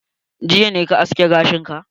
Jiya ne ka aske gashin ka?